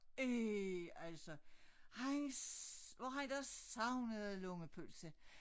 Ih altså han hvor han dog savnede lungepølse